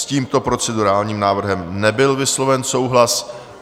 S tímto procedurálním návrhem nebyl vysloven souhlas.